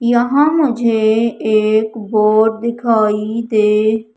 यहां मुझे एक बोर्ड दिखाई दे--